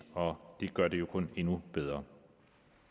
og det gør det jo kun endnu bedre